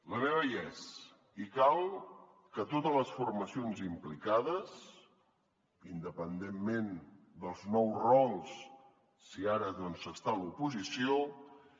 la meva hi és i cal que totes les formacions implicades independentment dels nous rols si ara doncs s’està a l’oposició